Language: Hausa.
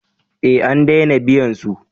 Eh an dena biyan su